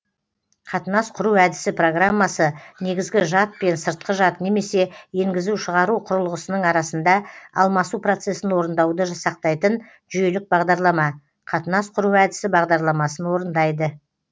қатынас құру әдісі программасы негізгі жад пен сыртқы жад немесе енгізу шығару құрылғысының арасында алмасу процесін орындауды жасақтайтын жүйелік бағдарлама қатынас құру әдісі бағдарламасын орындайды